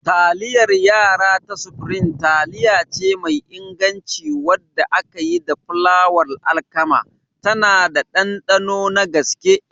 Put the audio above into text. Taliyar yara ta Supreme taliyace mai inganci wadda aka yi da fulawar alkama, tana da ɗanɗano na gaske.